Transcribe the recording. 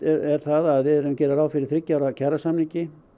er að við gerum ráð fyrir þriggja ára kjarasamningi